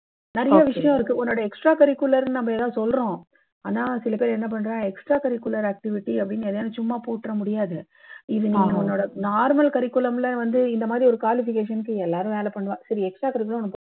நிறைய விஷயம் இருக்கு. உன்னோட extra curricular நம்பெல்லாம் சொல்றோம். ஆனா சில பேர் என்ன பண்றா நம்மோட extra curricular activity அப்படீன்னு சும்மா எதையாதும் போட்டுற முடியாது. இது நீ உன்னோட normal curriculum ல வந்து இந்த மாதிரி ஒரு qualification னுக்கு எல்லாரும் வேலை பண்ணுவா. சரி extra curricular